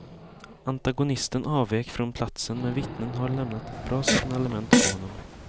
Antagonisten avvek från platsen men vittnen har lämnat ett bra signalement på honom.